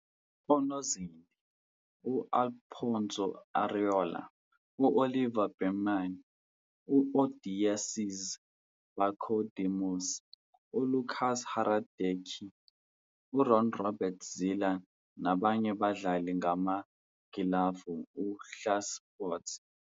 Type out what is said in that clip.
Onozinti u- Alphonso Areola, u-Oliver Baumann, u- Odysseas Vlachodimos, uLukas Hradecky, uRon-Robert Zieler nabanye badlala ngamagilavu e-uhlsport.